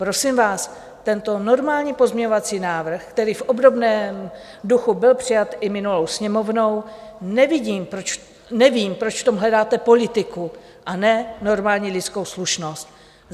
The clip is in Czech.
Prosím vás, tento normální pozměňovací návrh, který v obdobném duchu byl přijat i minulou Sněmovnou, nevím, proč v tom hledáte politiku a ne normální lidskou slušnost.